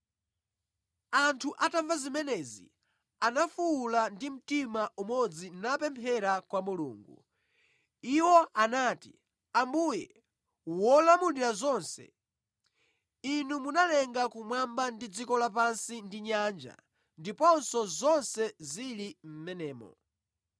Anthu atamva zimenezi anafuwula ndi mtima umodzi napemphera kwa Mulungu. Iwo anati, “Ambuye wolamulira zonse, Inu munalenga kumwamba ndi dziko lapansi ndi nyanja ndiponso zonse zili mʼmenemo.